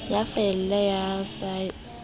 ya faele ya sars eo